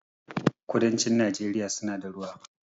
kudancin nageria suna da ruwa